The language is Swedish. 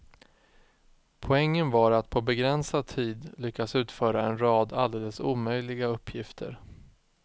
Poängen var att på begränsad tid lyckas utföra en rad alldeles omöjliga uppgifter.